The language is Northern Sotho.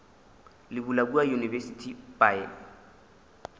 le bula kua university by